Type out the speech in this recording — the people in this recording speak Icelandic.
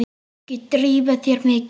Ekki þrífa þær mikið.